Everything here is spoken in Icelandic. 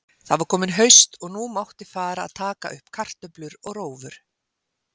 Það var komið haust og nú mátti fara að taka upp kartöflur og rófur.